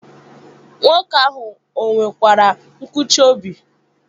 Nwoke ahụ ọ nwekwara nkụchi obi?